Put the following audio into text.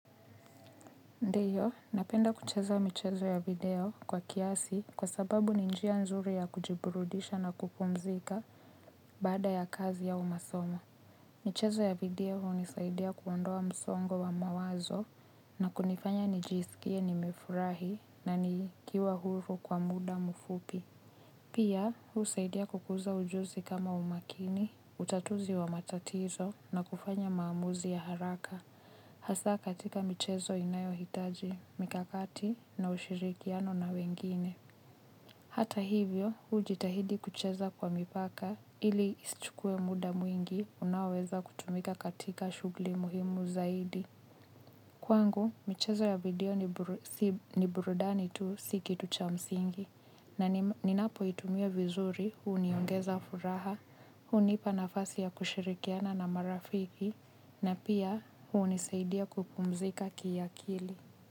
Ndiyo, napenda kucheza michezo ya video kwa kiasi kwa sababu ninjia nzuri ya kujiburudisha na kupumzika bada ya kazi au masomo. Michezo ya video unisaidia kuondoa msongo wa mawazo na kunifanya nijisikie ni mefurahi na nikiwa huru kwa muda mufupi. Pia, huu saidia kukuza ujuzi kama umakini, utatuzi wa matatizo na kufanya maamuzi ya haraka. Hasa katika michezo inayo hitaji, mikakati, na ushirikiano na wengine. Hata hivyo, ujitahidi kucheza kwa mipaka ili ischukue muda mwingi unaweza kutumika katika shugli muhimu zaidi. Kwangu, michezo ya video ni burudani tu siki tucha msingi. Na ninapo itumia vizuri, uniongeza furaha, unipa nafasi ya kushirikiana na marafiki, na pia unisaidia kupumzika kia kili.